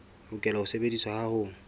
lokela ho sebediswa ha ho